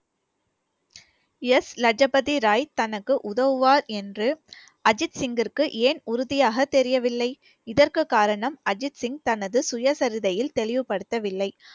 S Lajpat Rai தனக்கு உதவுவார் என்று அஜித் சிங்கிற்கு ஏன் உறுதியாக தெரியவில்லை இதற்கு காரணம் அஜித் சிங் தனது சுயசரிதையில் தெளிவுபடுத்தவில்லை